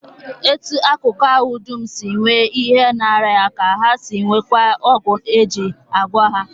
Etu akụkụ ahụ dum si nwee ihe na-arịa ha ka ha si nweekwa ọgwụ e ji agwọ ha